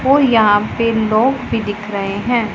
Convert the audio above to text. और यहां पे लोग भी दिख रहे हैं।